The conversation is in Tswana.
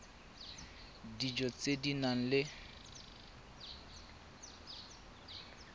dijo tse di nang le